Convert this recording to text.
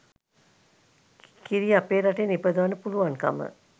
කිරි අපේ රටේ නිපදවන්න පුළුවන්කම